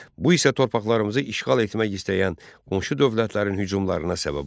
Bu isə torpaqlarımızı işğal etmək istəyən qonşu dövlətlərin hücumlarına səbəb oldu.